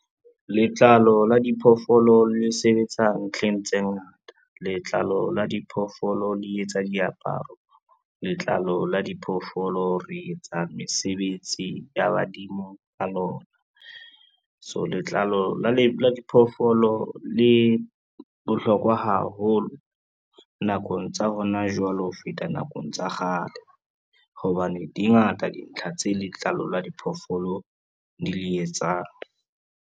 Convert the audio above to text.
Letlalo la diphoofolo le sebetsa ntlheng tse ngata. Letlalo la diphoofolo le etsa diaparo, letlalo la diphoofolo re etsa mesebetsi ya badimo ka lona. So letlalo la diphoofolo le bohlokwa haholo nakong tsa hona jwale ho feta nakong tsa kgale, hobane di ngata dintlha tse letlalo la diphoofolo di le etsang.